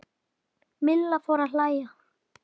Milla fór að hlæja.